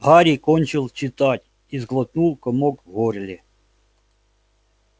гарри кончил читать и сглотнул комок в горле